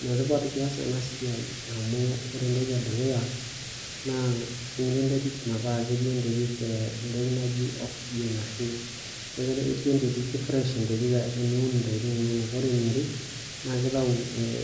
Enetipat piyas ena siai amu ore etoki edukuya naa, ingo enterit metaa ketii enterit eh etoki naji, oxygen ashu, ki fresh enterit teniun intokitin inonok. Ore eniare naa kitayu